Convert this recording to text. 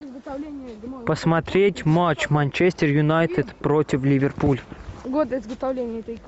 посмотреть матч манчестер юнайтед против ливерпуль